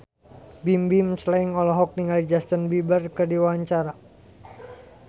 Bimbim Slank olohok ningali Justin Beiber keur diwawancara